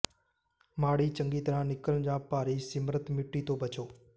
ਮਾੜੀ ਚੰਗੀ ਤਰ੍ਹਾਂ ਨਿਕਲਣ ਜਾਂ ਭਾਰੀ ਮਿਸ਼ਰਤ ਮਿੱਟੀ ਤੋਂ ਬਚੋ